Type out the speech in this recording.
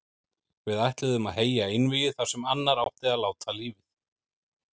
Við ætluðum að heyja einvígi þar sem annar átti að láta lífið.